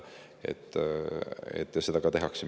Seda minu teada ka tehakse.